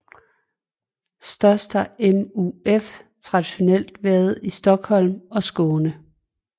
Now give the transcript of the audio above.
Størst har MUF traditionelt været i Stockholm og Skåne